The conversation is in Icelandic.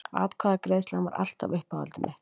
Atkvæðagreiðslan var alltaf uppáhaldið mitt.